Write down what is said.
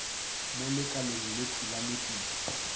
mo lekaleng lekhwi la nepišo